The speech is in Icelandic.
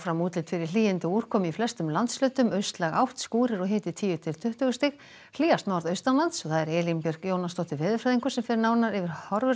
útlit fyrir hlýindi og úrkomu í flestum landshlutum austlæg átt skúrir og hiti tíu til tuttugu stig hlýjast norðaustanlands Elín Björk Jónasdóttir veðurfræðingur fer nánar yfir horfurnar